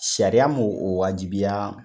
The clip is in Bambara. Sariya m'o o waajibiya